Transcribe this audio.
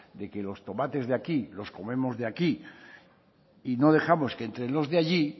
de que los tomates de aquí los comemos de aquí y no dejamos que entren los de allí